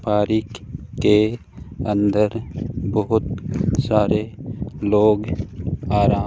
पारीख के अंदर बहुत सारे लोग आराम --